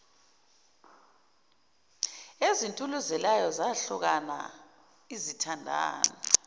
ezituluzelayo zahlukana izithandani